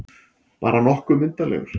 Bara nokkuð myndarlegur.